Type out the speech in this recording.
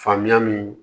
Faamuya min